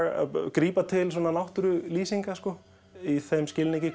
grípa til náttúrulýsinga í þeim skilningi